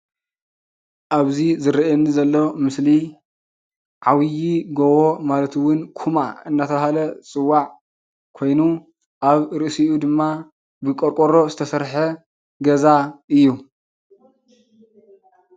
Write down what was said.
ኣብዚ ዝረኣየኒ ዘሎ ምስሊ ዓብይ ጎቦ ማለት እውን ኩማ እንዳተባሃለ ዝፅዋዕ ኮይኑ ኣብ ርእሲኡ ድማ ብቆርቆ ዝተሰርሐ ገዛ እዩ።